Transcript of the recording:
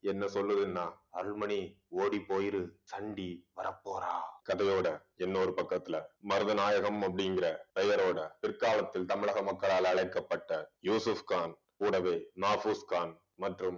என்ன சொல்லுதுன்னா அருள்மணி ஓடிப் போயிரு சண்டி வரப்போறான் கதையோட இன்னொரு பக்கத்துல மருதநாயகம் அப்படிங்கிற பெயரோட பிற்காலத்தில் தமிழக மக்களால் அழைக்கப்பட்ட யூசுஃப்கான் கூடவே மாபூஸ்கான் மற்றும்